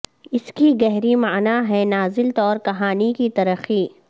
اس کی گہری معنی ہے نازل طور کہانی کی ترقی